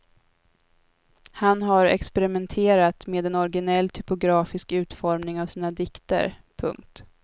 Han har experimenterat med en originell typografisk utformning av sina dikter. punkt